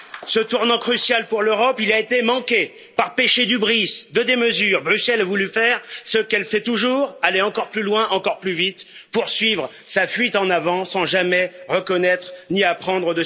Ce tournant crucial pour l'Europe, il a été manqué par péché d'hubris, de démesure, Bruxelles a voulu faire ce qu'elle fait toujours aller encore plus loin, encore plus vite, poursuivre sa fuite en avant sans jamais reconnaître ses erreurs ni en apprendre.